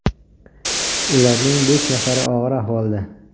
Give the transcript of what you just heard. Ularning besh nafari og‘ir ahvolda.